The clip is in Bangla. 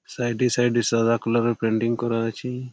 সাইড -এ সাইড এ- সাদা কালার -এর পেইন্টিং করা আছে--